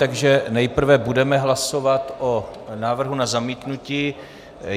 Takže nejprve budeme hlasovat o návrhu na zamítnutí.